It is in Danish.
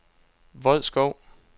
Vodskov